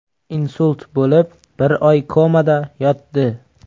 Insult bo‘lib, bir oy komada yotdi.